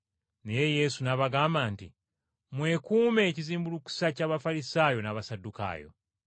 Naye Yesu n’abagamba nti, “Mwekuume ekizimbulukusa ky’Abafalisaayo n’Abasaddukaayo.”